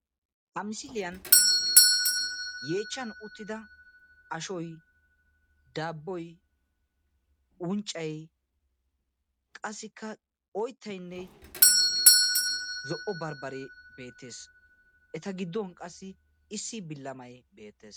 Ha misiliyaan yeechchan uttida ashoy, daabboy unccay qassikka oyttayinne zo'o barbbaree beettees. eta giddon qassi issi bilamay beettees.